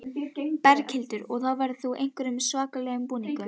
Berghildur: Og verður þá í einhverjum svakalegum búning?